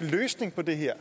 løsning på det her